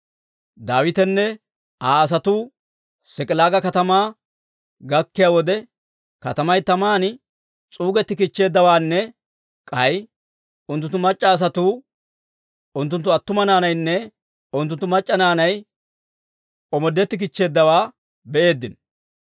Daawitenne Aa asatuu S'ik'ilaaga katamaa gakkiyaa wode, katamay taman s'uugettikichcheeddawaanne k'ay unttunttu mac'c'a asatuu, unttunttu attuma naanaynne unttunttu mac'c'a naanay omoodettikichcheeddawaa be'eeddino.